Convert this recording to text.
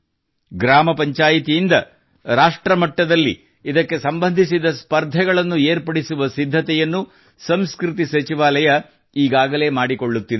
ಗ್ರಾಮ ಪಂಚಾಯ್ತಿಯಿಂದ ರಾಷ್ಟ್ರಮಟ್ಟದಲ್ಲಿ ಇದಕ್ಕೆ ಸಂಬಂಧಿಸಿದ ಸ್ಪರ್ಧೆಗಳನ್ನು ಏರ್ಪಡಿಸುವ ಸಿದ್ಧತೆ ಸಂಸ್ಕೃತಿ ಸಚಿವಾಲಯ ಮಾಡಿಕೊಳ್ಳುತ್ತಿದೆ